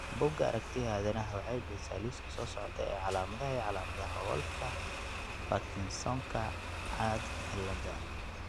Bugga Aragtiyaha Aadanaha waxay bixisaa liiska soo socda ee calaamadaha iyo calaamadaha Wolffka Parkinsonka caad cilada.